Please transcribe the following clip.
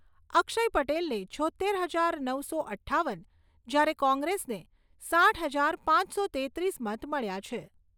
અક્ષય પટેલને છોત્તેર હજાર નવસો અઠ્ઠાવન, જ્યારે કોંગ્રેસને સાઈઠ હજાર પાંચસો તેત્રીસ મત મળ્યા છે.